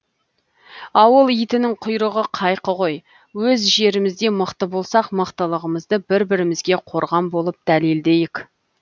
ауыл итінің құйрығы қайқы ғой өз жерімізде мықты болсақ мықтылығымызды бір бірімізге қорған болып дәлелдейік